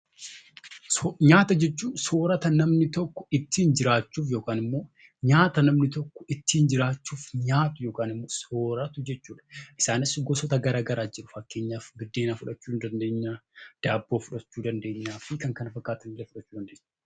Nyaata jechuun soorrata namni tokko ittiin jiraachuuf nyaatu yookiin soorratu jechuudha. Nyaanni Kunis gosoota adda addaatu jiru. Fakkeenyaaf buddeena, daabboo fi kan kana fakkaatanidha.